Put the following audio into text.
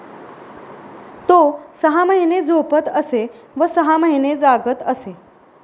तो सहा महिने झोपत असे व सहा महिने जागत असे.